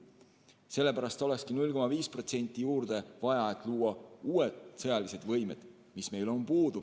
Sellepärast olekski 0,5% juurde vaja, et luua uued sõjalised võimed, mis meil praegu on puudu.